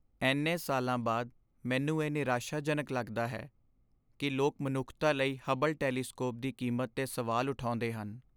ਇੰਨੇ ਸਾਲਾਂ ਬਾਅਦ, ਮੈਨੂੰ ਇਹ ਨਿਰਾਸ਼ਾਜਨਕ ਲੱਗਦਾ ਹੈ ਕਿ ਲੋਕ ਮਨੁੱਖਤਾ ਲਈ ਹਬਲ ਟੈਲੀਸਕੋਪ ਦੀ ਕੀਮਤ 'ਤੇ ਸਵਾਲ ਉਠਾਉਂਦੇ ਹਨ।